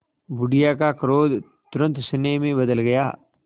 बुढ़िया का क्रोध तुरंत स्नेह में बदल गया